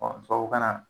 tubabukan na